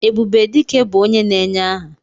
Ebube Dike bụ onye na-enye aha.